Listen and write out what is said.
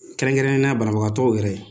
Kɛrɛnkɛrɛnnenyala banabagatɔw yɛrɛ